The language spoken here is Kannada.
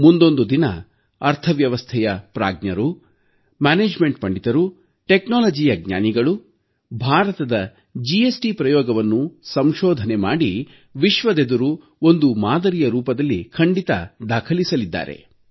ಮುಂದೊಂದು ದಿನ ಅರ್ಥವ್ಯವಸ್ಥೆಯ ಪ್ರಾಜ್ಞರು ನಿರ್ವಹಣಾ ಪಂಡಿತರು ತಂತ್ರಜ್ಞಾನದ ಜ್ಞಾನಿಗಳು ಭಾರತದ ಜಿಎಸ್ಟಿ ಪ್ರಯೋಗವನ್ನು ಸಂಶೋಧನೆ ಮಾಡಿ ವಿಶ್ವದೆದುರು ಒಂದು ಮಾದರಿಯ ರೂಪದಲ್ಲಿ ಖಂಡಿತ ದಾಖಲಿಸಲಿದ್ದಾರೆ